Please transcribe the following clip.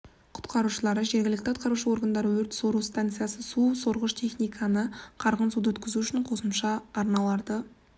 құтқарушылары жергілікті атқарушы органдар өрт-сору станциясы су сорғыш техниканы қарғын суды өткізу үшін қосымша арналарды